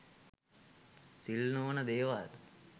සිල් නොවන දේවල්